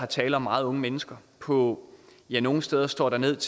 tale om meget unge mennesker på ja nogle steder står der ned